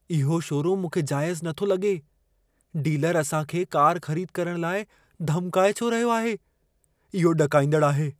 इहो शोरूमु मूंखे जाइज़ु नथो लॻे। डीलर असां खे कार ख़रीद करण लाइ धमकाए छो रहियो आहे? इहो ॾकाईंदड़ु आहे।